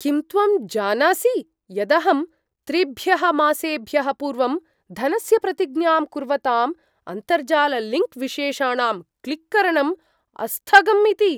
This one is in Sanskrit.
किं त्वं न जानासि यदहं त्रिभ्यः मासेभ्यः पूर्वं धनस्य प्रतिज्ञां कुर्वताम् अन्तर्जाललिङ्क् विशेषाणां क्लिक् करणम् अस्थगम् इति?